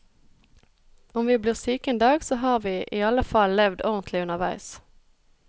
Om vi blir syke en dag, så har vi i alle fall levd ordentlig underveis.